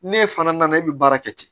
N'e fana nana e bɛ baara kɛ ten